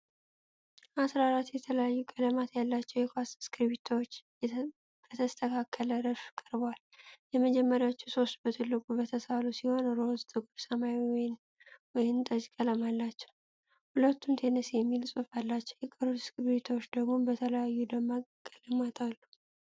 አሥራ አራት የተለያዩ ቀለማት ያላቸው የኳስ እስክሪብቶዎች በተስተካከለ ረድፍ ቀርበዋል። የመጀመሪያዎቹ ሦስቱ በትልቁ የተሳሉ ሲሆን፣ ሮዝ፣ ጥቁር ሰማያዊና ወይን ጠጅ ቀለም አላቸው፤ ሁሉም "ቴነስ" የሚል ጽሑፍ አላቸው። የቀሩት እስክሪብቶዎች ደግሞ በተለያዩ ደማቅ ቀለማት አሉ።